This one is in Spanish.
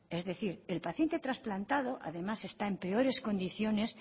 es decir el paciente trasplantado además está en peores condiciones